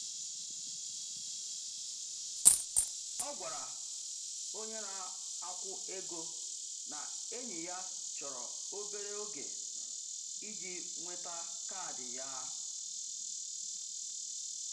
Ọ gwara onye na-akwụ ego na enyi ya chọrọ obere oge iji nweta kaadị ya.